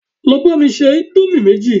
Lọ bá mi se indomie méjì